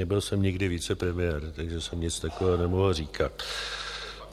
Nebyl jsem nikdy vicepremiér, takže jsem nic takového nemohl říkat.